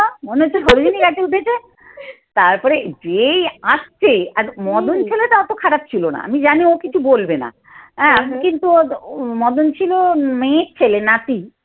মনে হচ্ছে সরোযিনি গাছে উঠেছে। তারপরে যেই আসছে আর মদন ছেলেটা অত খারাপ ছিল না। আমি জানি ও কিছু বলবে না। হ্যাঁ কিন্তু মদন ছিল মেয়ের ছেলে নাতি।